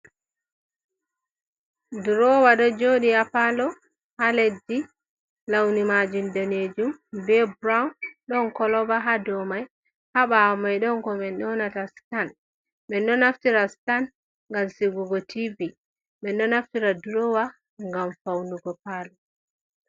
Durowa do jooɗi haa pallo haa leddi, launi majum danejum be burown, ɗon koloba haa dow mai, haa ɓawo mai ɗon ko min ƴonata sitan. Menɗoo naftira sitan ngam sigugo tivi, menɗoo naftira durowa ngam faunugo pallo.